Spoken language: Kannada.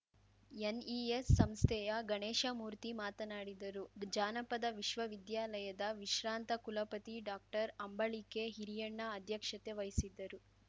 ಎನ್‌ಇಎಸ್‌ ಸಂಸ್ಥೆಯ ಗಣೇಶ ಮೂರ್ತಿ ಮಾತನಾಡಿದರು ಜಾನಪದ ವಿಶ್ವವಿದ್ಯಾಲಯದ ವಿಶ್ರಾಂತ ಕುಲಪತಿ ಡಾಕ್ಟರ್ಅಂಬಳಿಕೆ ಹಿರಿಯಣ್ಣ ಅಧ್ಯಕ್ಷತೆ ವಹಿಸಿದ್ದರು